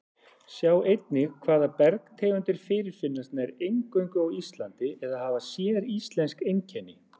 Sjá einnig Hvaða bergtegundir fyrirfinnast nær eingöngu á Íslandi eða hafa séríslensk einkenni?